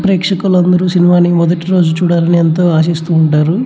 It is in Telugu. ప్రేక్షకులు అందరూ సినిమా ని మొదటి రోజు చూడాలని ఎంతో ఆసిస్తూ ఉంటారు.